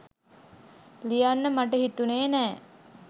ලියන්න මට හිතුනෙ නෑ.